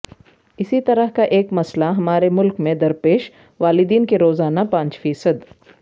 اسی طرح کا ایک مسئلہ ہمارے ملک میں درپیش والدین کے روزانہ پانچ فیصد